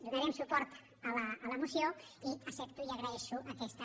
donarem suport a la moció i accepto i agraeixo aquesta